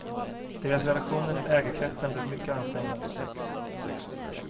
Deras relationer till ägarkretsen blev mycket ansträngda.